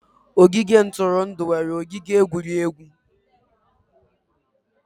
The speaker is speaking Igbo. Ogige ntụrụndụ nwere ogige egwuregwu.